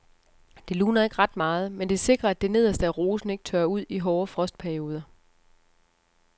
Det luner ikke ret meget, men det sikrer at det nederste af rosen ikke tørrer ud i hårde frostperioder.